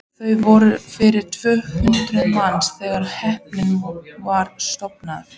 Þar voru yfir tvö hundruð manns þegar hreppurinn var stofnaður.